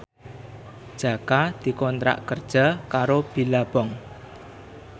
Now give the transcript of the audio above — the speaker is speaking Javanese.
Jaka dikontrak kerja karo Billabong